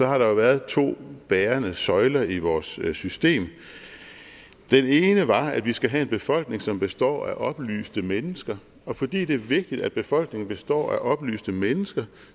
har der været to bærende søjler i vores system den ene var at vi skal have en befolkning som består af oplyste mennesker og fordi det er vigtigt at befolkningen består af oplyste mennesker